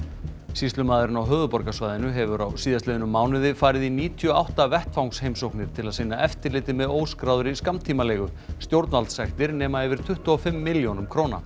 sýslumaðurinn á höfuðborgarsvæðinu hefur á síðastliðnum mánuði farið í níutíu og átta vettvangsheimsóknir til að sinna eftirliti með óskráðri skammtímaleigu stjórnvaldssektir nema yfir tuttugu og fimm milljónum króna